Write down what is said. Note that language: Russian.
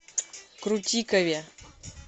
крутикове